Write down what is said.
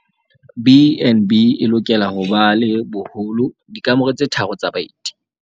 BnB e lokela ho ba le boholo dikamore tse tharo tsa baeti.